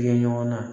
Kɛ ɲɔgɔn na